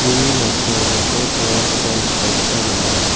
nalsaoba bol pangrangkoba nikna gita man·a.